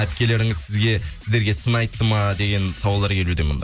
әпкелеріңіз сізге сіздерге сын айтты ма деген сауалдар келуде мында